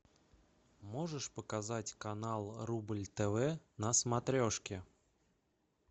можешь показать канал рубль тв на смотрешке